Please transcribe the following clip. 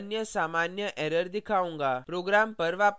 मैं आपको एक अन्य सामान्य error दिखाऊंगा